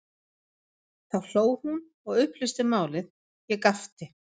Þá hló hún og upplýsti málið, ég gapti.